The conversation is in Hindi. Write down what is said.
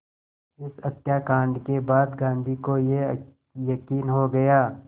इस हत्याकांड के बाद गांधी को ये यक़ीन हो गया